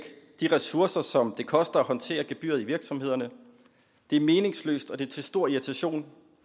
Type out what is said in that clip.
de ressourcer som det koster at håndtere gebyret i virksomhederne det er meningsløst og det er til stor irritation